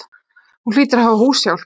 Hún hlýtur að hafa húshjálp.